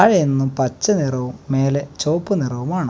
അ എന്നും പച്ച നിറവും മേലെ ചുവപ്പ് നിറവുമാണ്.